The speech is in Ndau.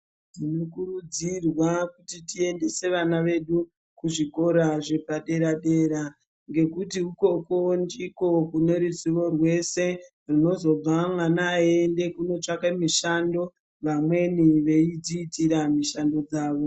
Tinokurudzirwa kuti tiendese vana vedu kuzvikora zvepadera dera ngekuti ikoko ndiko kune ruzivo rwese runozobva mwana eyienda kunotsvake mushando vamweni veidziitira mushando dzavo.